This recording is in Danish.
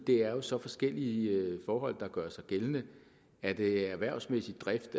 det er jo så forskellige forhold der gør sig gældende er det erhvervsmæssig drift